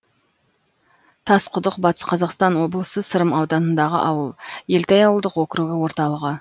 тасқұдық батыс қазақстан облысы сырым ауданындағы ауыл елтай ауылдық округі орталығы